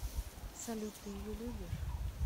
салют ты ее любишь